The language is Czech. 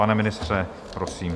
Pane ministře, prosím.